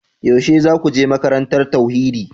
Yaushe za ku je makarantar tauhidi?